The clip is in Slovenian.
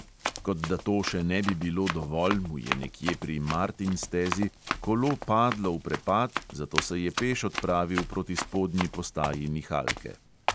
Kot da to še ne bi bilo dovolj, mu je nekje pri martinj stezi kolo padlo v prepad, zato se je peš odpravil proti spodnji postaji nihalke.